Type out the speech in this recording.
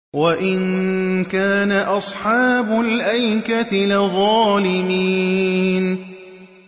وَإِن كَانَ أَصْحَابُ الْأَيْكَةِ لَظَالِمِينَ